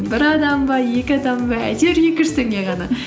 бір адам ба екі адам ба әйтеуір екі жүз теңге ғана